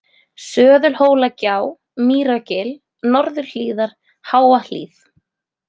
Söðulhólagjá, Mýragil, Norðurhlíðar, Háahlið